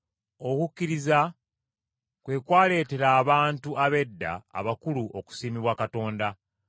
Okukkiriza kwe kwaleetera abantu ab’edda abakulu okusiimibwa Katonda.